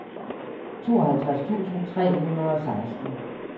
tooghalvtreds tusind tre hundrede og seksten